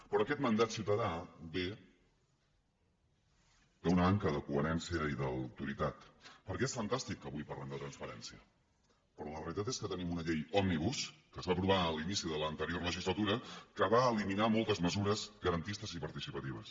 però aquest mandat ciutadà ve d’una manca de coherència i d’autoritat perquè és fantàstic que avui parlem de transparència però la realitat és que tenim una llei òmnibus que es va aprovar a l’inici de l’anterior legislatura que va eliminar moltes mesures garantistes i participatives